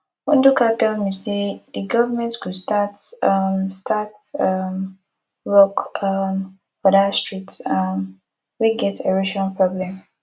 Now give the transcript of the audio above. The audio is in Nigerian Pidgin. ndka tell me say the government go start um start um work um for dat street um wey get erosion problem